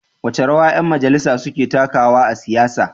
Wace rawa ƴan majalisa suka takawa a siyasa?